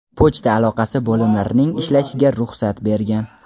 pochta aloqasi bo‘limlarining ishlashiga ruxsat bergan.